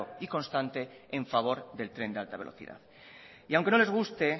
y constante en favor del tren de alta velocidad y aunque no les guste